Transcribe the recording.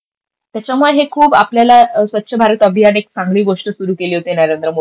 त्याच्यामुळे हे खूप आपल्याला स्वच्छ भारत अभियान एक चांगली गोष्ट सुरू केली होती नरेंद्र मोदींनी.